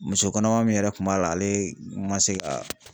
Muso kɔnɔma min yɛrɛ kun b'a la ale ma se ka